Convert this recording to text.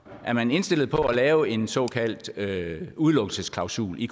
er man indstillet på at lave en såkaldt udelukkelsesklausul i